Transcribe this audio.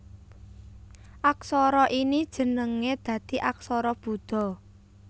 Aksara ini jenengé dadi aksara Buda